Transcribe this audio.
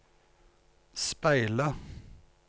speile